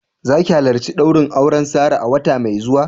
Za ki halarci daurin auren Sarah a wata mai zuwa?